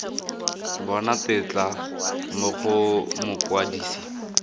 bona tetla mo go mokwadise